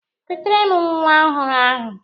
Kutere m nwa ọhụrụ ahụ!